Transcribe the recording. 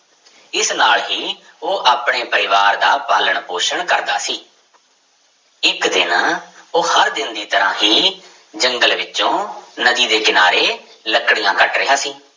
ਇਸ ਨਾਲ ਹੀ ਉਹ ਆਪਣੇ ਪਰਿਵਾਰ ਦਾ ਪਾਲਣ ਪੋਸ਼ਣ ਕਰਦਾ ਸੀ ਇੱਕ ਦਿਨ ਉਹ ਹਰ ਦਿਨ ਦੀ ਤਰ੍ਹਾਂ ਹੀ ਜੰਗਲ ਵਿੱਚੋਂ ਨਦੀ ਦੇ ਕਿਨਾਰੇ ਲੱਕੜੀਆਂ ਕੱਟ ਰਿਹਾ ਸੀ।